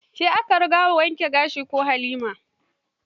Ke aka riga yi wa wankin gashin ko Halima?